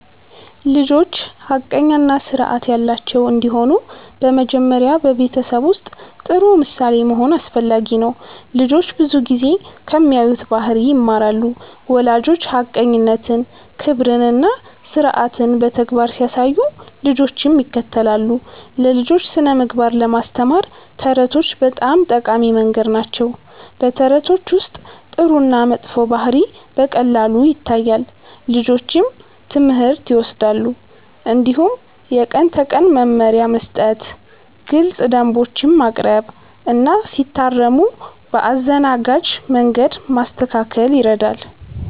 ልጆች ሐቀኛ እና ስርዓት ያላቸው እንዲሆኑ በመጀመሪያ በቤተሰብ ውስጥ ጥሩ ምሳሌ መሆን አስፈላጊ ነው። ልጆች ብዙ ጊዜ ከሚያዩት ባህሪ ይማራሉ። ወላጆች ሐቀኝነትን፣ ክብርን እና ስርዓትን በተግባር ሲያሳዩ ልጆችም ይከተላሉ። ለልጆች ስነ-ምግባር ለማስተማር ተረቶች በጣም ጠቃሚ መንገድ ናቸው። በተረቶች ውስጥ ጥሩ እና መጥፎ ባህሪ በቀላሉ ይታያል፣ ልጆችም ትምህርት ይወስዳሉ። እንዲሁም የቀን ተቀን መመሪያ መስጠት፣ ግልፅ ደንቦች ማቅረብ እና ሲታረሙ በአዘናጋጅ መንገድ ማስተካከል ይረዳል።